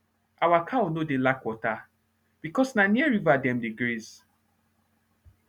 our cow nor dey lack water becos na near river dem dey graze